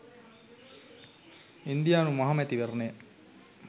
ඉන්දියානු මහ මැතිවරණය